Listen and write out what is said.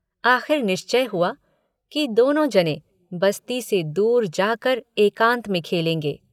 आख़िर निश्चय हुआ कि दोनों जनें बस्ती से बहुत दूर जाकर एकान्त में खेलेंगे।